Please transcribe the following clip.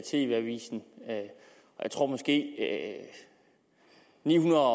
tv avisen og jeg tror måske at nihundrede og